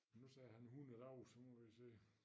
Nu sagde han 100 dage så nu må vi se